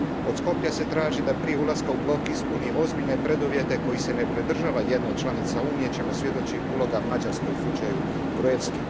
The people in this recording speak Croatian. Od Skoplja se traži da prije ulaska u blok ispuni ozbiljne preduvjete kojih se ne pridržava jedna od članica Unije, o čemu svjedoči uloga Mađarske u slučaju Gruevski.